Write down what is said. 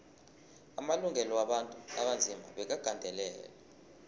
amalungelo wabantu abanzima bekagandelelwe